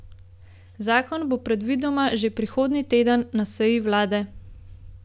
Zakon bo predvidoma že prihodnji teden na seji vlade.